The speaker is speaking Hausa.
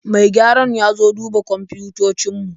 Mai gyaran ya zo duba kwamfutocin mu